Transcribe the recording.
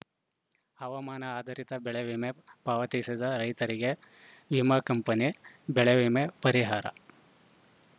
ಹವಾಮಾನ ಆಧಾರಿತ ಬೆಳೆ ವಿಮೆ ಪಾವತಿಸಿದ ರೈತರಿಗೆ ವಿಮಾ ಕಂಪನಿ ಬೆಳೆವಿಮೆ ಪರಿಹಾರ